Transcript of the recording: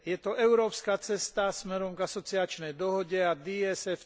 Je to európska cesta smerom k asociačnej dohode a DCFTA.